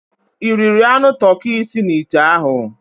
Ị riri anụ toki si n'ite ahụ?